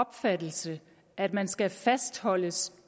opfattelse at man skal fastholdes